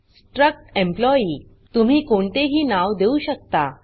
struct employee तुम्ही कोणतेही नाव देऊ शकता